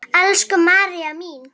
Elsku María mín.